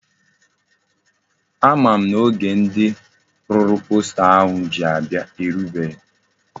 Ama m na oge ndi rụrụ posta ahụ ji abia erubeghi.